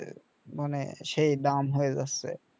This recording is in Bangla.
মানে সেই দাম হয় যাচ্ছে